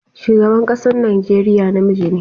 Shugaban ƙasan Nigeriya namiji ne.